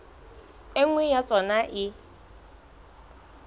e nngwe ya tsona e